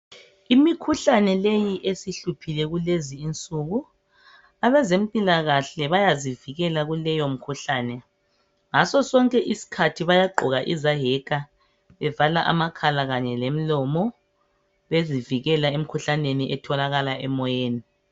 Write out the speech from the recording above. Imikhuhlane leyi esihluphile kulezi insuku abezempilakahle bayazivikela kuleyomkhuhlane ngasosonke isikhathi bayagqoka izaheka bevala smaklhala kanye lemilomo bezivikela emkhuhlaneni etholakala emoyeni.